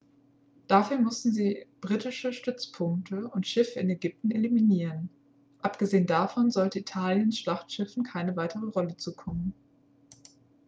dafür mussten sie britische stützpunkte und schiffe in ägypten eliminieren abgesehen davon sollte italiens schlachtschiffen keine weitere rolle zukommen